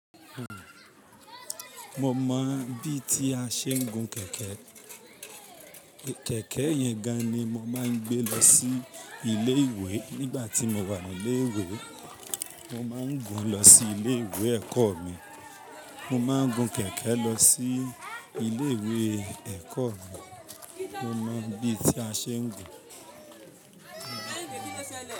Mo mọ bí tí a ṣe ń gun kẹ̀kẹ́. Kẹ̀kẹ́ yẹn gan ni mo máa ń gbé lọ sí ilé ìwé nígbà tí mo wà ní ilé ìwé. Mo máa ń gun lọ sí ilé ìwé ẹ̀kọ́ mi. Mo máa ń gun kẹ̀kẹ́ lọ sí ilé ìwé ẹ̀kọ́ mi. Mo mọ bí tí a ṣe ń gun.